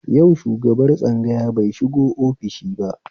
Yau shubagar tsangaya bai shigo ofishi ba